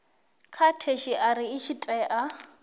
ya theshiari i tshi tea